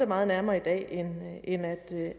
meget nærmere i dag end